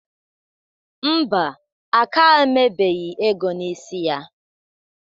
Ḿbà, aka emebeghi ego n'isi ya.